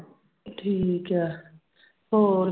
ਠੀਕ ਹੈ ਹੋਰ।